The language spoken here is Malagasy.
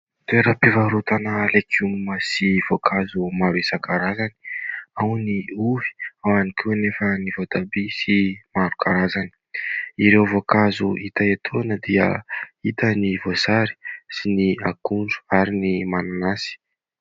Toeram-pivarotana legioma sy voankazo maro isan-karazany. Ao ny ovy, ao ihany koa anefa ny voatabia sy maro karazany. Ireo voankazo hita etoana dia hita ny voasary sy ny akondro ary ny mananasy.